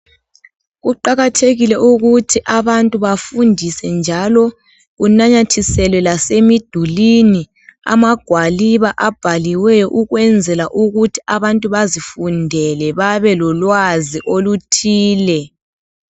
Kuqakathekile ukuthi abantu bafundise njalo kunanyathiswele lasemiduli amagwaliba abhaliweyo ukwenzela ukuthi abantu bazifundele babe lolwazi oluthile.